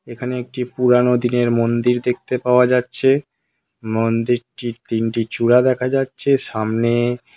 এখানে একটি পুরানো দিনের মন্দির দেখতে পাওয়া যাচ্ছে মন্দিরটির তিনটি চূড়া দেখা যাচ্ছে সামনে ।